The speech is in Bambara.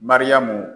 Mariyamu